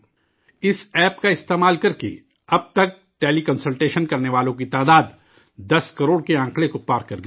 اس app کا استعمال کرکے اب تک ٹیلی کنسلٹیشن کرنے والوں کی تعداد 10 کروڑ کی عدد کو پار کر گئی ہے